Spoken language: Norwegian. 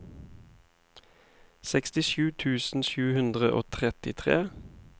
sekstisju tusen sju hundre og trettitre